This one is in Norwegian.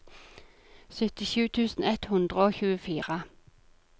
syttisju tusen ett hundre og tjuefire